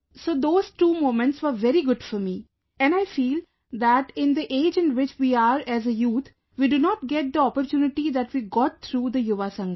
So those two moments were very good for me and I feel that in the age in which we are as a youth, we do not get the opportunity that we got through the Yuva Sangam